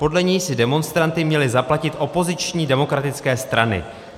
Podle něj si demonstranty měly zaplatit opoziční demokratické strany.